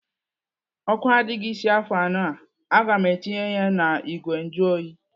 Ọkụ adịghị isi afọ anụ a. Aga m etinye ya n'igwe njuoyi.